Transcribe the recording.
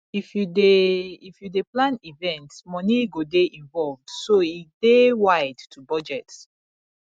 if you dey if you dey plan event money go dey involved so e dey wide to budget